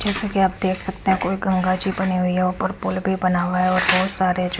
जैसा कि आप देख सकते है कोई गंगा जी बनी हुई ऊपर पुल भी बना हुआ है और बहोत सारे--